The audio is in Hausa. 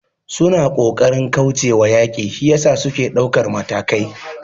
Suna kokarin kaucewa yaki shiyasa suke daukar matakai